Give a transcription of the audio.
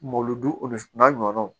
Malodon o n'a ɲɔgɔnnaw